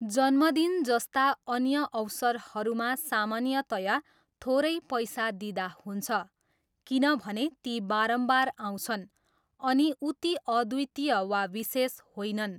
जन्मदिन जस्ता अन्य अवसरहरूमा सामान्यतया थोरै पैसा दिँदा हुन्छ किनभने ती बारम्बार आउँछन् अनि उति अद्वितीय वा विशेष होइनन्।